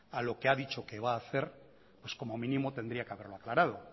a lo que ha dicho que va a hacer pues como mínimo tendría que haberlo aclarado